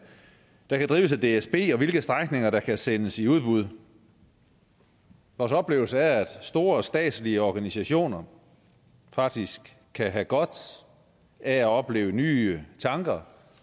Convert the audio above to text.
der kan drives af dsb og hvilke strækninger der kan sendes i udbud vores oplevelse er at store statslige organisationer faktisk kan have godt af at opleve nye tanker